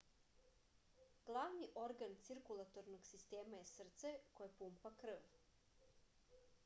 glavni organ cirkulatornog sistema je srce koje pumpa krv